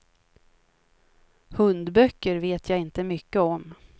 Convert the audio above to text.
Hundböcker vet jag inte mycket om.